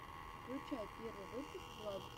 включай первый выпуск владуса